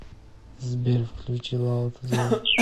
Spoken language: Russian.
сбер включи лаута зож